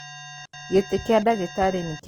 Gĩtĩkĩa dagĩtarĩnĩkĩanĩka.